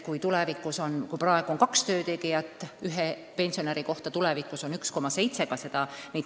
Praegu on kaks töötegijat ühe pensionäri kohta, tulevikus vaid 1,7.